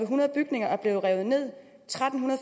hundrede bygninger er blevet revet ned tretten